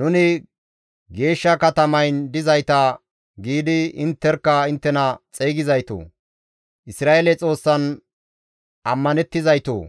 ‹Nuni geeshsha katamayn dizayta› giidi intterkka inttena xeygizaytoo! Isra7eele Xoossan ammanettizaytoo!